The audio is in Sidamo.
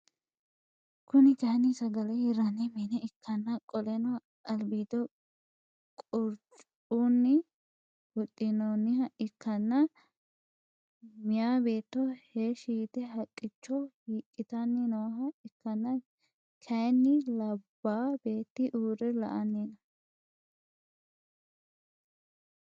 Kuni kaayiini sagele hirranni mine ikkanna qoleno albiido qurccunni huxxinooniha ikkana meeyaa beetto heeshi yite haqqichcho hiiqitani nooha ikkana kaayiini labaa beeti uure la'anni no